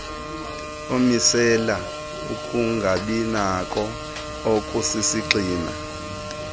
omisela ukungabinako okusisigxina